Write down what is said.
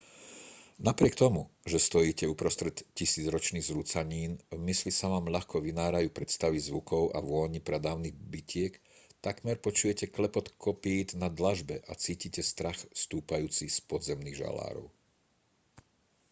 napriek tomu že stojíte uprostred tisícročných zrúcanín v mysli sa vám ľahko vynárajú predstavy zvukov a vôní pradávnych bitiek takmer počujete klepot kopýt na dlažbe a cítite strach stúpajúci z podzemných žalárov